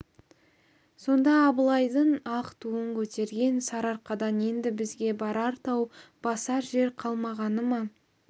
сонда абылайдың ақ туын көтерген сарыарқадан енді бізге барар тау басар жер қалмағаны ма